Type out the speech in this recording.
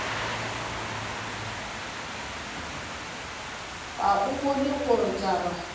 ga o bone gore taba